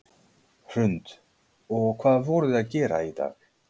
Hrund: Og hvað voruð þið að gera í dag?